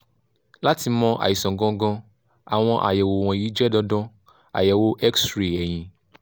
láti mọ̀ àìsàn gangan àwọn àyẹ̀wò wọ̀nyí jẹ́ dandan: àyẹ̀wò x-ray ẹ̀yìn